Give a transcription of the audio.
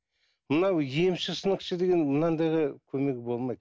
мынау емші сынықшы деген мынандайға көмегі болмайды